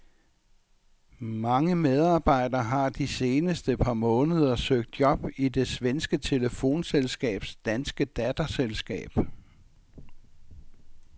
Mange medarbejdere har de seneste par måneder søgt job i det svenske telefonselskabs danske datterselskab.